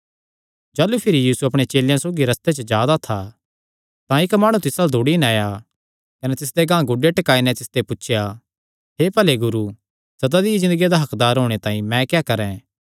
जाह़लू यीशु भिरी अपणे चेलेयां सौगी रस्ते च जा दा था तां इक्क माणु तिस अल्ल दौड़ी नैं आया कने तिसदे गांह गोड्डे टिकाई नैं तिसते पुछया हे भले गुरू सदा दी ज़िन्दगिया दा हक्कदार होणे तांई मैं क्या करैं